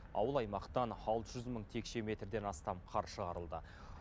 ауыл аймақтан алты жүз мың текше метрден астам қар шығарылды